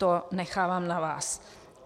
To nechávám na vás.